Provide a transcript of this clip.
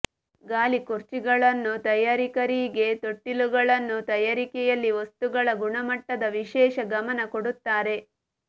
ಗಾಲಿಕುರ್ಚಿಗಳನ್ನು ತಯಾರಕರಿಗೆ ತೊಟ್ಟಿಲುಗಳನ್ನು ತಯಾರಿಕೆಯಲ್ಲಿ ವಸ್ತುಗಳ ಗುಣಮಟ್ಟದ ವಿಶೇಷ ಗಮನ ಕೊಡುತ್ತಾರೆ